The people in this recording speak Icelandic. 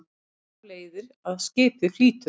Þar af leiðir að skipið flýtur.